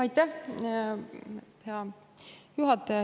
Aitäh, hea juhataja!